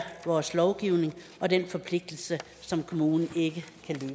vores lovgivning og den forpligtelse som kommunen ikke